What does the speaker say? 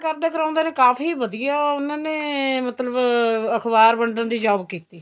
ਕਰਦੇ ਕਰਾਉਂਦੇ ਨੇ ਕਾਫੀ ਵਧੀਆ ਉਹਨਾ ਨੇ ਮਤਲਬ ਅਖਬਾਰ ਵੰਡਣ ਦੀ job ਕੀਤੀ